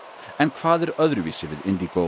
en hvað er öðruvísi við